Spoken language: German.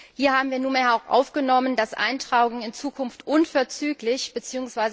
Hier haben wir nunmehr auch aufgenommen, dass Eintragungen in Zukunft unverzüglich bzw.